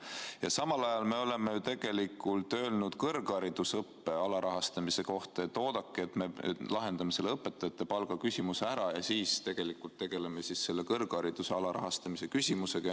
Ja samal ajal oleme öelnud kõrgharidusõppe alarahastamise kohta, et oodake, me lahendame õpetajate palga küsimuse ära ja siis tegeleme kõrghariduse alarahastamise küsimusega.